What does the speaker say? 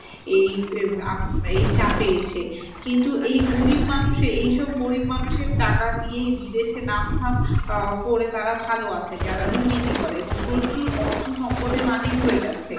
এই চাপে এসে। কিন্তু এই গরিব মানুষের এইসব গরিব মানুষের টাকা দিয়েই বিদেশে নাম ধাম দিয়ে তারা ভাল আছে এবং প্রচুর অর্থ সম্পদের মালিক হয়ে যাচ্ছে।